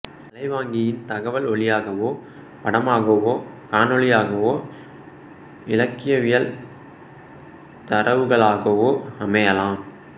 அலைவாங்கியின் தகவல் ஒலியாகவோ படமாகவோ காணொலியாகவோ இலக்கவியல் தரவுகளாகவோ அமையலாம்